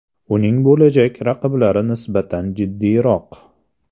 Uning bo‘lajak raqiblari nisbatan jiddiyroq.